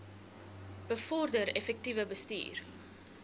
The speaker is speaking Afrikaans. bevorder effektiewe bestuur